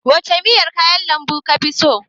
Wace miyar kayan lambu kafi so?